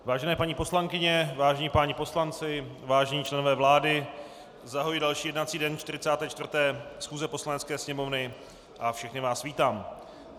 Vážené paní poslankyně, vážení páni poslanci, vážení členové vlády, zahajuji další jednací den 44. schůze Poslanecké sněmovny a všechny vás vítám.